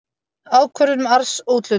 Ákvörðun um arðsúthlutun.